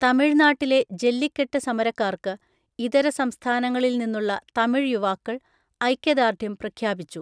തമിഴ്നാട്ടിലെ ജല്ലിക്കെട്ട് സമരക്കാർക്ക് ഇതര സംസ്ഥാനങ്ങളിൽ നിന്നുള്ള തമിഴ് യുവാക്കൾ ഐക്യദാർഢ്യം പ്രഖ്യാപിച്ചു.